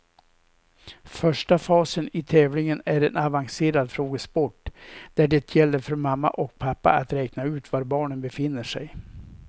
Första fasen i tävlingen är en avancerad frågesport där det gäller för mamma och pappa att räkna ut var barnen befinner sig.